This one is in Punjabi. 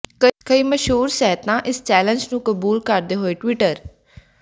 ਕਈ ਮਸ਼ਹੂਰ ਸਹਤੀਆਂ ਇਸ ਚੈਲੇਂਜ ਨੂੰ ਕਬੂਲ ਕਰਦੇ ਹੋਏ ਟਵਿਟਰ